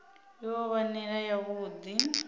i o vha nila yavhui